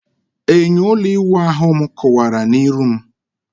Enyo ulo iwu ahu m kuwara na-iru m